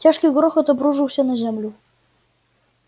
тяжкий грохот обрушился на землю